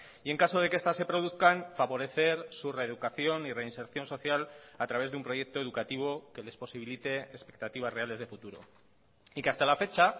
y en caso de que estas se produzcan favorecer su reeducación y reinserción social a través de un proyecto educativo que les posibilite expectativas reales de futuro y que hasta la fecha